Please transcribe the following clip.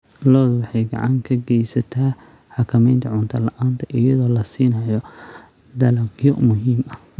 Lo'du waxay gacan ka geysataa xakamaynta cunto la'aanta iyadoo la siinayo dalagyo muhiim ah.